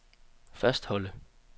fastholde